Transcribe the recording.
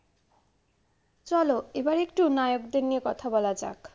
চলো এবার একটু নায়কদের নিয়ে কথা বলা যাক।